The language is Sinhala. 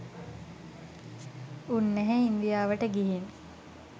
උන්නැහේ ඉන්දියාවට ගිහින්